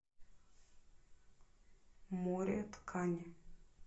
море ткани